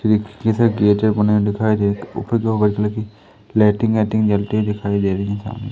एक जैसे गेटे बनाए हुए दिखाई दे रही है ऊपर दो वाइट कलर की लाइटिंग वायक्टिंग जलती हुई दिखाई दे रही है सामने--